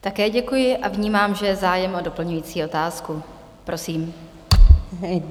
Také děkuji a vnímám, že je zájem o doplňující otázku - prosím.